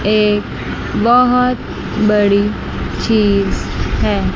एक बहोत बड़ी चीज है।